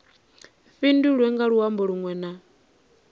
fhindulwe nga luambo lunwe na